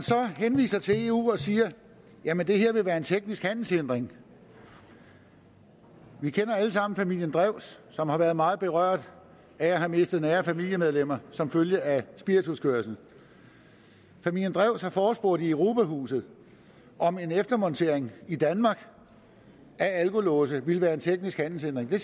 henviser så til eu og siger jamen det her vil være en teknisk handelshindring vi kender alle sammen familien drews som har været meget berørt af at have mistet nære familiemedlemmer som følge af spirituskørsel familien drews har forespurgt i europa huset om en eftermontering i danmark af alkolåse ville være en teknisk handelshindring og det